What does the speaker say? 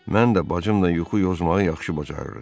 Mən də bacımla yuxu yozmağı yaxşı bacarırıq.